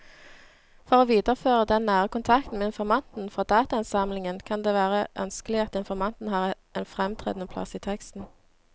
For å videreføre den nære kontakten med informanten fra datainnsamlingen kan det være ønskelig at informanten har en fremtredende plass i teksten.